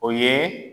O ye